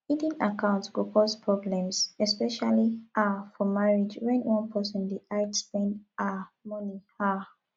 hidden accounts go cause problems especially um for marriage when one person dey hide spend um money um